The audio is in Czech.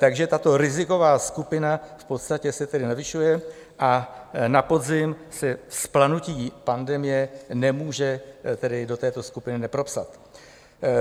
Takže tato riziková skupina v podstatě se tedy navyšuje a na podzim se vzplanutí pandemie nemůže tedy do této skupiny nepropsat.